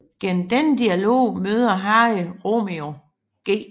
Gennem denne dialog møder Harry Romeo G